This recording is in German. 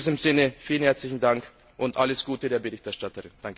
In diesem Sinne, vielen herzlichen Dank und alles Gute der Berichterstatterin.